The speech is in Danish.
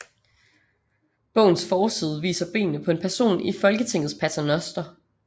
Bogens forside viser benene på en person i Folketingets paternoster